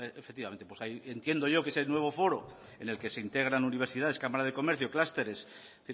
efectivamente entiendo yo que ese nuevo foro en el que se integran universidades cámaras de comercio clústeres es